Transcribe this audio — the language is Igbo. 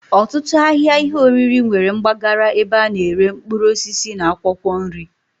Otutu ahia ihe oriri nwere mgbagara ebe ana ere mkpuruosisi na akwokwo nri.